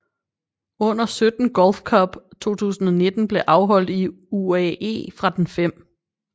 Under 17 Gulf Cup 2009 blev afholdt i i UAE fra den 5